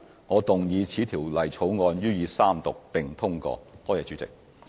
我動議此條例草案予以三讀並通過。